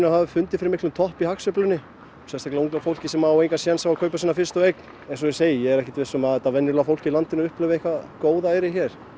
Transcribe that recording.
hafi fundið fyrir miklum toppi á hagsveiflunni sérstaklega unga fólkið sem á engan séns á að kaupa sína fyrstu eign eins og ég segi ég er ekkert viss um að þetta venjulega fólk í landinu upplifi eitthvað góðæri hér